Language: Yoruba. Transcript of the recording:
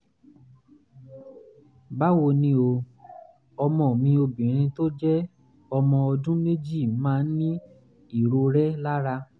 báwo ni o? ọmọ mi obìnrin tó jẹ́ ọmọ ọdún méjì máa ń ní ìrorẹ́ lára